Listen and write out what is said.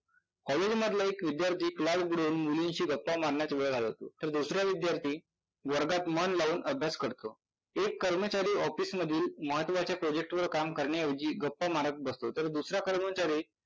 एक विद्यार्थी क्लास बुडवून मुलींशी गप्पा मारण्यात वेळ घालवतो तर दुसरा विद्यार्थी वर्गात मन लावून अभ्यास करतो. एक कर्मचारी ऑफिसमधील महत्त्वाच्या project वर काम करण्याऐवजी गप्पा मारत बसतो तर दुसरा कर्मचारी